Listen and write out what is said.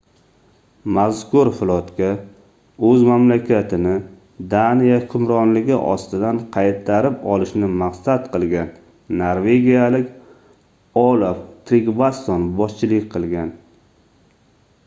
mazkur flotga oʻz mamlakatini daniya hukmronligi ostidan qaytarib olishni maqsad qilgan norvegiyalik olaf trigvasson boshchilik qilgan